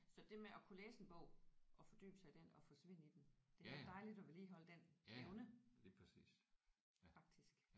Så det med at kunne læse en bog og fordybe sig i den og forsvinde i den det er da dejligt at vedligeholde den evne faktisk